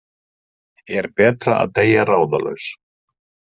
Er betra að deyja ráðalaus?